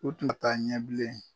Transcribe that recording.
O tun bɛ taa Ɲɛbilen.